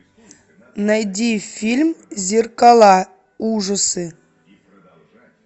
найди фильм зеркала ужасы